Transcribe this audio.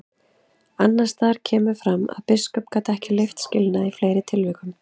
Annars staðar kemur fram að biskup gat leyft skilnað í fleiri tilvikum.